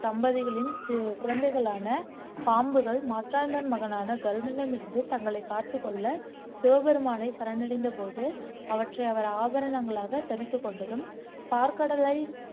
தம்பதிகளின் குழந்தைகளான பாம்புகள் மட்ராந்தன் மகனான கருடனிடம் இருந்து தங்களை காத்துக்கொள்ள சிவபெருமானை சரணடைந்த போது அவற்றை அவர் ஆபரணங்களாக தரித்துக் கொண்டதும் பாற்கடலை